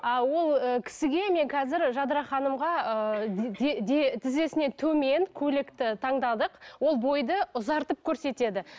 а ол ііі кісіге мен қазір жадыра ханымға ыыы тізесінен төмен көйлекті таңдадық ол бойды ұзартып көрсетеді